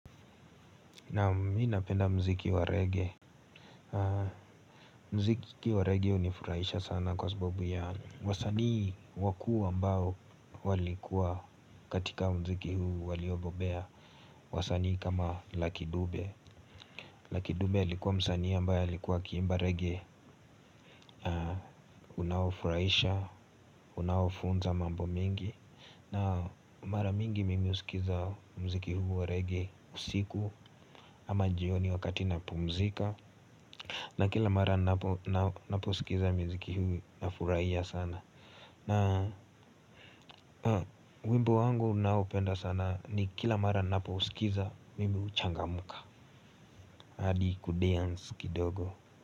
Naam mimi napenda mziki wa reggae. Mziki wa reggae hunifurahisha sana kwa sababu ya wasanii wakuu ambao walikuwa katika mziki huu waliobobea. Wasanii kama laki dube Laki dube alikuwa msanii ambayo alikuwa akiimba reggae. Unaofurahisha, unaofunza mambo mingi. Na mara mingi mimi husikiza mziki huu wa reggae usiku ama jioni wakati napumzika. Na kila mara napousikiza miziki huu nafuraia sana. Na wimbo wangu naoupenda sana ni kila mara napousikiza mimi changamka. Hadi kudeance kidogo.